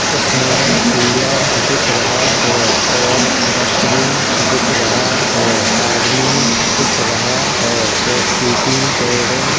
इसमें कूलर दिख रहा है और डस्ट्बिन दिख रहा है आदमी दिख रहा है पेप्सी की टेरे --